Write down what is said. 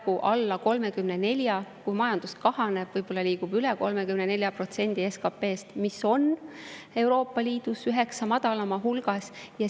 Kui majandus kahaneb, võib-olla liigub üle 34% SKP-st, mis on Euroopa Liidus üheksa madalaima hulgas.